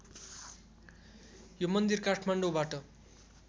यो मन्दिर काठमाडौँबाट